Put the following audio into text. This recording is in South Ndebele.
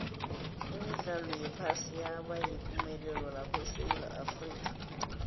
imidlalo yephasi yabayipumelelo lapha esewula afrika